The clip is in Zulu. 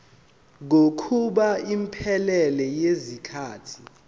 kokuba iphelele yisikhathi